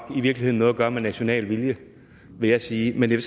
har noget at gøre med national vilje vil jeg sige men jeg